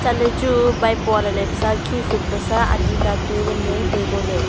chatley chu maipua lailai pusa khi sum pusa ani natu nganley tai ngoley.